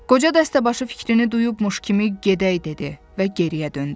Qoca dəstəbaşı fikrini duyubmuş kimi gedək dedi və geriyə döndü.